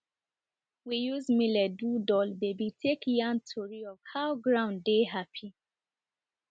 we use millet do doll baby take yarn tori of how ground dey happy